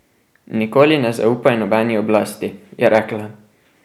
Nikoli ne zaupaj nobeni oblasti, je rekla.